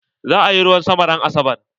Za a yi ruwan sama ran asabar.